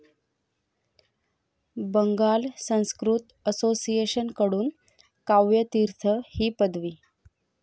Bengal Sanskrit association कडून काव्य तीर्थ ही पदवी